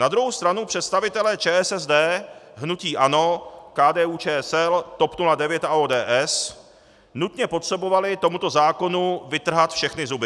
Na druhou stranu představitelé ČSSD, hnutí ANO, KDU-ČSL, TOP 09 a ODS nutně potřebovali tomuto zákonu vytrhat všechny zuby.